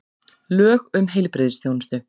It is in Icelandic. Lög um heilbrigðisþjónustu.